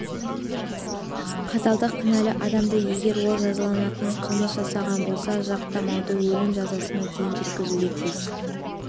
қаталдық кінәлі адамды егер ол жазаланатындай қылмыс жасаған болса жалтақтамай өлім жазасына дейін жеткізуге тиіс